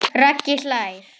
Raggi hlær.